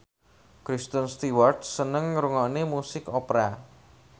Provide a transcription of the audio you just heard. Kristen Stewart seneng ngrungokne musik opera